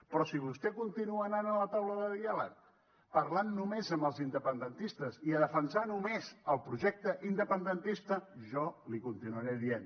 però si vostè continua anant a la taula de diàleg parlant només amb els independentistes i a defensar només el projecte independentista jo li ho continuaré dient